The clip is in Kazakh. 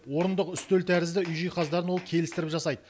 орындық үстел тәрізді үй жиһаздарын ол келістіріп жасайды